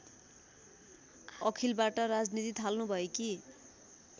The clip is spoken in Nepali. अखिलबाट राजनीति थाल्नुभएकी